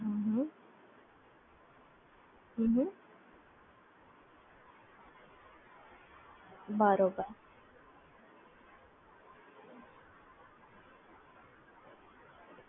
હા